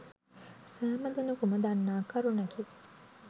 සෑම දෙනකුම දන්නා කරුණකි.